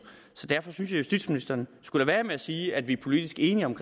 derfor synes justitsministeren skulle lade være med at sige at vi er politisk enige om